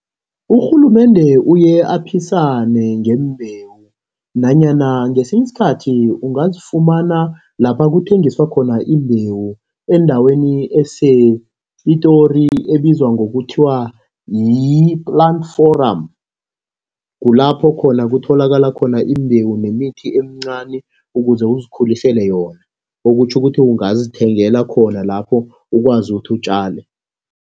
Urhulumende uye aphisane ngembewu nanyana ngesinye iskhathi, ungazifumana lapha kuthengiswa khona imbewu endaweni esePitori, ebizwa ngokuthiwa yi-Plant forum. Kulapho khona kutholakala khona imbewu nemithi emincani, ukuze uzikhulisele yona. Okutjho ukuthi ungazithengela khona lapho, ukwazi ukuthi utjale.